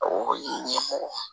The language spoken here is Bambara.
O ye ɲɛmɔgɔ ye